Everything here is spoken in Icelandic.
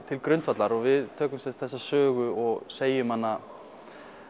til grundvallar og við tökum sem sagt þessa sögu og segjum hana